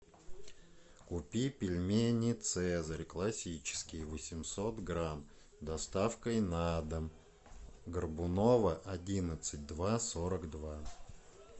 купи пельмени цезарь классические восемьсот грамм с доставкой на дом горбунова одиннадцать два сорок два